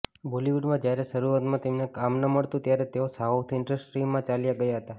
બોલિવુડમાં જ્યારે શરૂઆતમાં તેમને કામ ન મળતું ત્યારે તેઓ સાઉથ ઇન્ડસ્ટ્રીમાં ચાલ્યા ગયા હતા